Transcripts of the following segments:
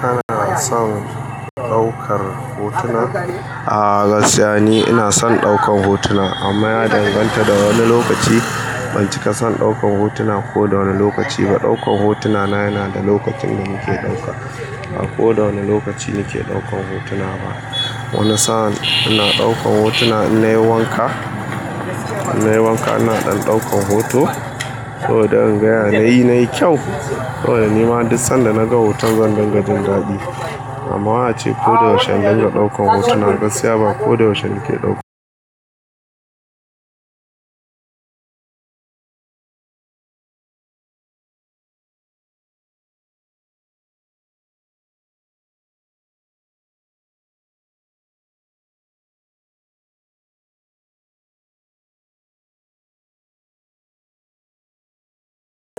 Kana son ɗaukar hotuna? A gaskiya ni ina son ɗaukar hotuna amma a danganta da wani lokaci, ban cika son ɗaukar hotuna ko da wane lokaci ba. Ɗaukar hotuna na yana da lokacin da nike ɗauka ba ko da wane lokaci nike ɗaukar hotuna ba. Wani sa'an ina ɗaukar hotuna in nayi wanka. In nayi wanka ina ɗan ɗaukan hoto saboda in ga yanayi na yi kyau saboda ni ma har disan da naga hoton zan dinga jin daɗi. Amma a ce ko da yaushe dinga ɗaukan hotuna, gaskiya ba ko da yaushe nike ɗauka.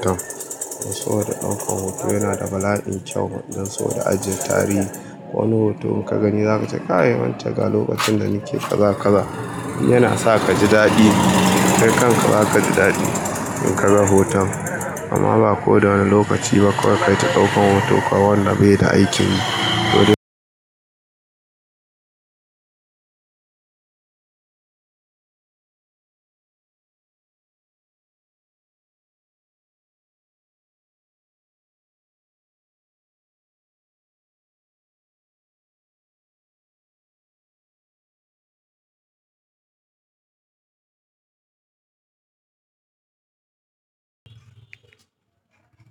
Don so da ɗaukan hoto yana da bala'in kyau don so da ajiyar tarihi. In nayi wanka ina ɗan ɗaukan hoto saboda in ga yanayi na yi kyau saboda ni ma har disan da naga hoton zan dinga jin daɗi. Kai kan ka zaka ji daɗi in ka ga hoton. Amma ba ko da wani lokaci ba kawai kata ɗaukan hoto kawai wanda bai da aikin yi.